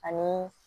Ani